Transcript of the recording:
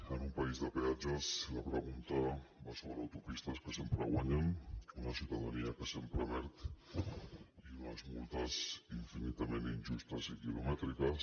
en un país de peatges la pregunta va sobre autopistes que sempre guanyen una ciutadania que sempre perd i unes multes infinitament injustes i quilomètriques